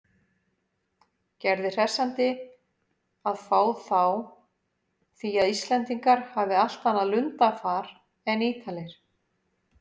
Gerði hressandi að fá þá því að Íslendingar hafi allt annað lundarfar en Ítalir.